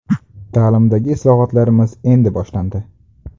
Ta’limdagi islohotlarimiz endi boshlandi.